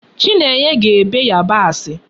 Chinenye na-ebe Yabasi